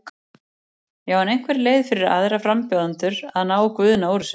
Já, er einhver leið fyrir aðra frambjóðendur að ná Guðna úr þessu?